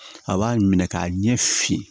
A b'a minɛ k'a ɲɛ fin